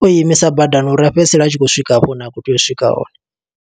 o imisa badani uri a fhedzisele a tshi khou swika hafho hune a khou tea u swika hone.